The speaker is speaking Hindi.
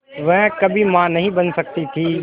वह कभी मां नहीं बन सकती थी